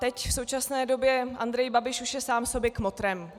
Teď v současné době Andrej Babiš už je sám sobě kmotrem.